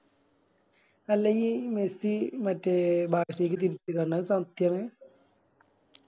അല്ല ഈ മെസ്സി മറ്റേ ബാഴ്സലോണക്ക് തിരിച്ച് വരന്ന് അത് സത്യാന്ന്